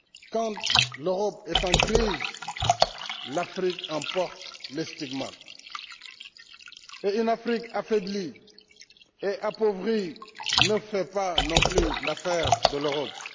Quand l'Europe est en crise, l'Afrique en porte les stigmates, et une Afrique affaiblie et appauvrie ne fait pas non plus l'affaire de l'Europe.